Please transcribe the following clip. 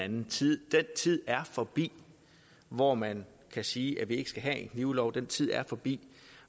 den tid er forbi hvor man kan sige at vi ikke skal have en knivlov den tid er forbi